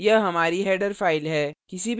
यह हमारी header file है